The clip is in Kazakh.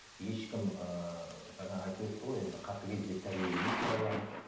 ешкім ііі жаңа айтып өтті ғой енді катыгез деп тәрбиелемейді балаларын